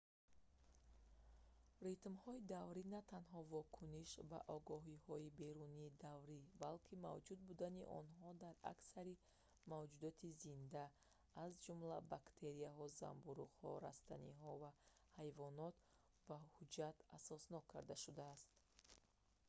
ритмҳои даврӣ натанҳо вокуниш ба огоҳиҳои берунии даврӣ балки мавҷуд будани онҳо дар аксари мавҷудоти зинда аз ҷумла бактерияҳо занбӯруғҳо растаниҳо ва ҳайвонот бо ҳуҷҷат асоснок карда шудааст